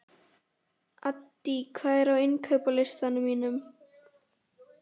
Addý, hvað er á innkaupalistanum mínum?